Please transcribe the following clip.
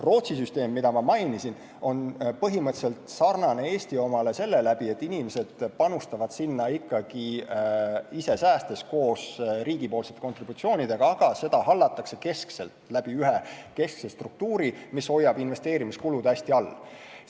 Rootsi süsteem, mida ma mainisin, on põhimõtteliselt sarnane Eesti omaga, st inimesed panustavad sinna ikkagi ise säästes koos riigi kontributsioonidega, aga seda hallatakse keskselt, läbi ühe keskse struktuuri, mis hoiab investeerimiskulud hästi all.